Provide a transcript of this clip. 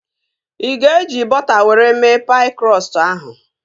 Ị ga-eji bọta were mee paị krọstụ ahụ?